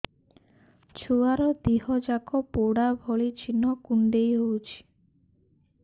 ଛୁଆର ଦିହ ଯାକ ପୋଡା ଭଳି ଚି଼ହ୍ନ କୁଣ୍ଡେଇ ହଉଛି